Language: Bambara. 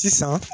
Sisan